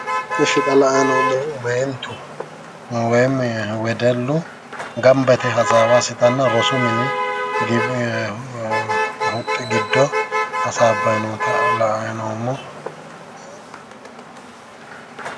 Ishi xa la''ayi noommohu meentu woyim wedellu gamba yite hasaawa assitanna rosu mini huxxi giddo hasaabay noota la''ay noommo.